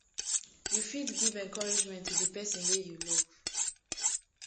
you fit give encouragement to di person wey you love